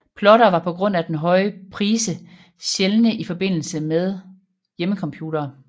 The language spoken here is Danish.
Plottere var på grund af den høje prise sjældne i forbindelse med hjemmecomputere